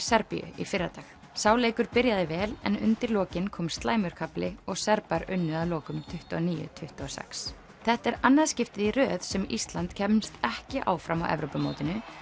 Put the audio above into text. Serbíu í fyrradag sá leikur byrjaði vel en undir lokin kom slæmur kafli og Serbar unnu að lokum tuttugu og níu til tuttugu og sex þetta er annað skiptið í röð sem Ísland kemst ekki áfram á Evrópumótinu